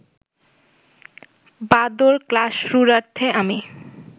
বাঁদর-ক্লাসরূঢ়ার্থে আমি